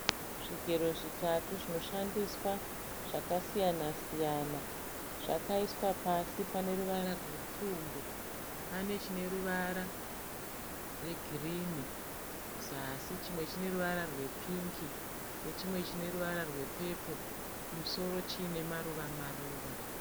Zvigero zvitatu zvinoshandiswa zvakasiyana-siyana. Zvakaiswa pasi paneruvara rwepfumbu. Pane chineruvara rwegirini kuzasi, chimwe chineruvara rwepingi nechimwe chineruvara rwe peporo kumusoro chinemaruva-maruva.